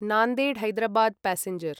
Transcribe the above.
Nanded Hyderabad passenger